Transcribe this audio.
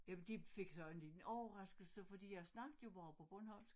Jamen de fik så en liten overraskelse fordi jeg snakkede jo bare på bornholmsk